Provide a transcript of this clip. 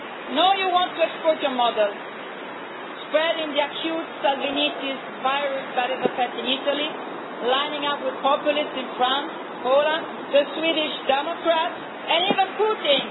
Now you want to export your model, spreading the acute Salvinitis virus that is affecting Italy, lining up with populists in France, Poland, the Swedish Democrats and even Putin.